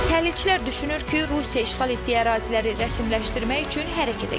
Təhlilçilər düşünür ki, Rusiya işğal etdiyi əraziləri rəsmiləşdirmək üçün hərəkətə keçib.